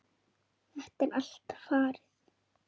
Þetta er allt farið.